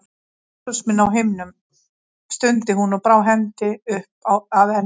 Jesús minn á himnum, stundi hún og brá hendi upp að enni.